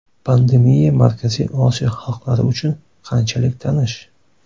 Pandemiya Markaziy Osiyo xalqlari uchun qanchalik tanish?